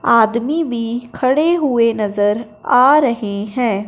आदमी भी खड़े हुए नजर आ रहे हैं।